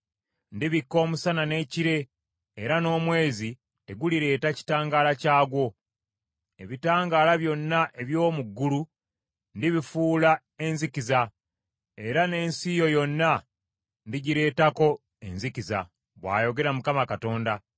Ndibikka omusana n’ekire, era n’omwezi tegulireeta kitangaala kyagwo. Ebitangaala byonna eby’omu ggulu, ndibifuula enzikiza; era n’ensi yo yonna ndigireetako enzikiza, bw’ayogera Mukama Katonda.